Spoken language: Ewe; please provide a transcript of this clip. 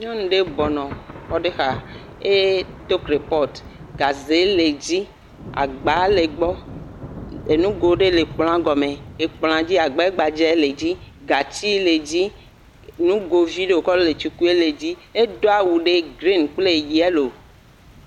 Nyɔnu ɖe bɔbɔ nɔ xɔ ɖe xa eye edo kropɔtu gaze le edzi. Agba le egbɔ. Enugo ɖe le ekplɔ̃a gɔme. ekplɔ̃a dzi agbɛgbadza le edzi. Gatsi le edzi. Nugovi ɖe wòkɔ le tsi ku ele edzi. Edo awu grini kple yɛlo.